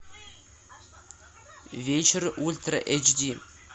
вечер ультра эйч ди